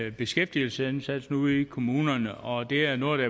af beskæftigelsesindsatsen ude i kommunerne og det er noget